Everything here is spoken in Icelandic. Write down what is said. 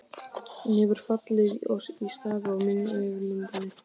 Hún hefur fallið í stafi yfir myndinni.